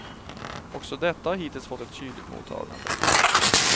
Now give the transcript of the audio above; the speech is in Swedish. Också detta har hittills fått ett kyligt mottagande.